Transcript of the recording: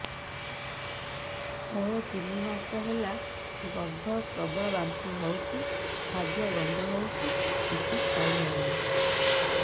ମୋର ତିନି ମାସ ହେଲା ଗର୍ଭ ପ୍ରବଳ ବାନ୍ତି ହଉଚି ଖାଦ୍ୟ ଗନ୍ଧ ହଉଚି କିଛି ଖାଇ ହଉନାହିଁ